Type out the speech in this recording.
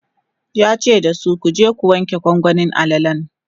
yace dasu"kuje ku wanke gwangwanin alalan!"